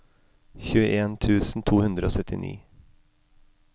tjueen tusen to hundre og syttini